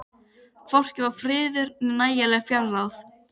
Hvorki var friður né nægileg fjárráð.